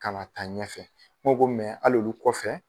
Ka taa ɲɛfɛ ne ko ko hali olu kɔfɛ.